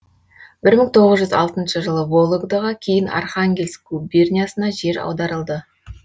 бір мың тоғыз жүз алтыншы жылы вологдаға кейін архангельск губерниясына жер аударылды